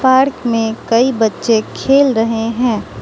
Park में कई बच्चे खेल रहे हैं।